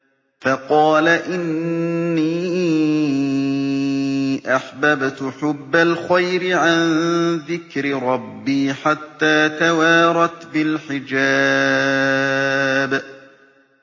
فَقَالَ إِنِّي أَحْبَبْتُ حُبَّ الْخَيْرِ عَن ذِكْرِ رَبِّي حَتَّىٰ تَوَارَتْ بِالْحِجَابِ